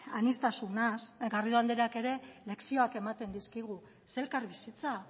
aniztasunaz garrido andreak ere lezioak ematen dizkigu zer elkarbizitza